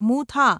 Mutha